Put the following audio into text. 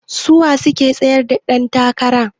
Suwa suke tsayar da dan takara?